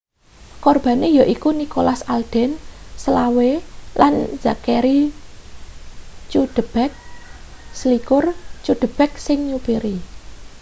kurbane yaiku nicholas alden 25 lan zachery cuddeback 21 cuddeback sing nyupiri